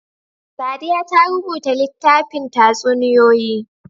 Sadiya ta rubuta littafin tatsuniyoyi.